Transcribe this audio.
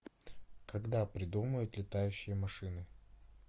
когда придумают летающие машины